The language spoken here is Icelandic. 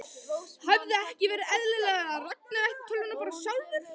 Hefði ekki verið eðlilegra að Ragnar ætti tölvuna bara sjálfur?